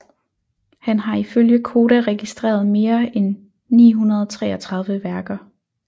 Han har ifølge Koda registreret mere end 933 værker